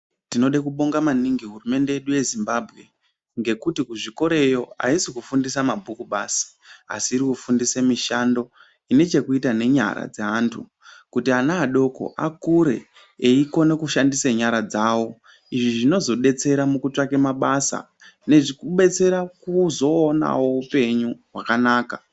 Tinode kubonga maningi hurumende yedu yeZimbabwe ngekuti kuzvikoreyo aisi kufundisa mabhuku basi, asi irikufundise mishando inechekuita nenyara dzeantu, kuti ana adoko akure eikona kushandise nyara dzawo. Izvi zvinozodetsera mukutsvake mabasa, nekubetsera kuzoonawo upenyu hwakanaka.